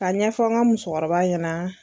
Ka ɲɛfɔ n ka musokɔrɔba ɲɛna.